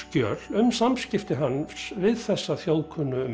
skjöl um samskipti hans við þessa